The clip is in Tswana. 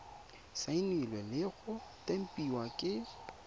saenilwe le go tempiwa ke